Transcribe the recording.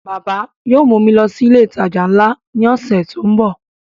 Bàbá yóò mú mi lọ sí ilé ìtajà nla ní ọ̀sẹ̀ tó ń bọ̀